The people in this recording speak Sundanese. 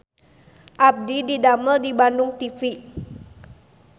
Abdi didamel di Bandung TV